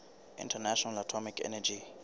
international atomic energy